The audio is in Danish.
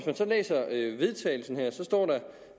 man så læser vedtagelsen at der står